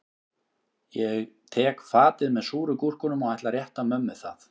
Ég tek fatið með súru gúrkunum og ætla að rétta mömmu það